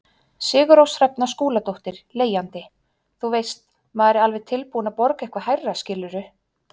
Sigurrós Hrefna Skúladóttir, leigjandi: Þú veist, maður er alveg tilbúin að borga eitthvað hærra skilurðu?